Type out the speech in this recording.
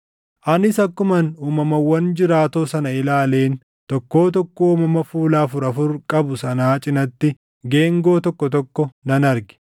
Anis akkuman uumamawwan jiraatoo sana ilaaleen tokkoo tokkoo uumama fuula afur afur qabu sanaa cinatti geengoo tokko tokko nan arge.